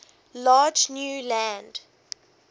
large new land